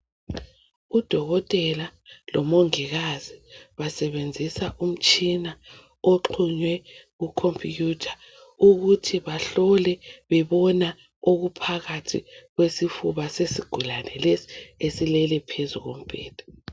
Udokotela bomongikazi basebenzisa umtshina oxhunywe ku computer ukuthi bahlole bebona okuphakathi kwesifuba sesigulane lesi esilele phezu kombheda.